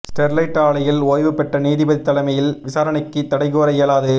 Sterlite ஆலையில் ஓய்வுபெற்ற நீதிபதி தலைமையில் விசாரணைக்கு தடை கூற இயலாது